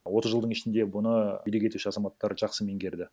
отыз жылдың ішінде бұны билік етуші азаматтар жақсы меңгерді